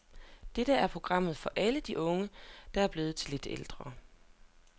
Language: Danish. Dette er programmet for alle de unge, der er blevet lidt ældre.